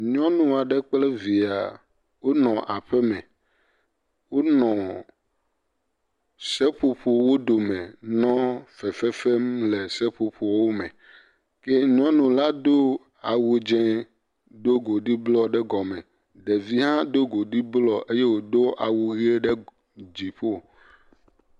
nyɔnuɔɖe kple via wónɔ aƒeme wónɔ seƒoƒowo dome nɔ fefefem le seƒoƒoɔwo me ye nyɔnu la dó awu dzɛ̃ dó godi blɔ ɖe gɔme ɖevi hã do godi blɔ eye wodó awu ɣe ɖe dziƒo